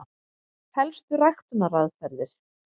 Helstu ræktunaraðferðir: